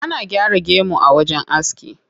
Ana gyaran gemu a wajen aski.